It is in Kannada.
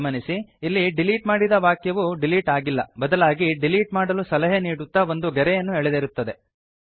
ಗಮನಿಸಿ ಇಲ್ಲಿ ಡಿಲೀಟ್ ಮಾಡಿದ ವಾಕ್ಯವು ಡಿಲೀಟ್ ಆಗಿಲ್ಲ ಬದಲಾಗಿ ಡಿಲೀಟ್ ಮಾಡಲು ಸಲಹೆ ನೀಡುತ್ತಾ ಒಂದು ಗೆರೆಯನ್ನು ಎಳೆದಿರುತ್ತದೆ